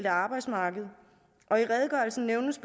arbejdsmarked og i redegørelsen nævnes